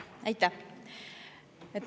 Aitäh!